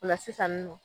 O la sisan nɔ